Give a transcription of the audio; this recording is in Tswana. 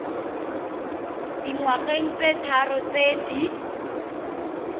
dingwageng tse tharo tse di